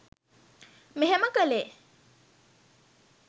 මෙහෙම කළේ.